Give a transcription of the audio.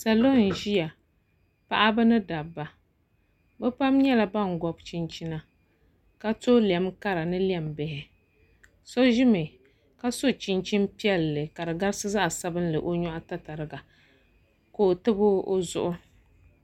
Salo n ʒiya paɣaba ni dabba bi pam nyɛla ban gobi chinchina ka to lɛm kara ni lɛm bihi so ʒimi ka so chinchin piɛlli ka di garisi zaɣ sabinli o nyoɣu tatariga ka o tabi o zuɣu